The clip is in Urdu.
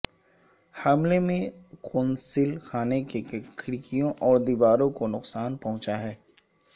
حملے میں قونصل خانے کی کھڑکیوں اور دیواروں کو نقصان پہنچا ہے